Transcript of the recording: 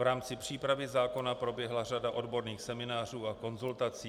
V rámci přípravy zákona proběhla řada odborných seminářů a konzultací.